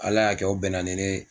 ALA y'a kɛ o bɛnna ni ne.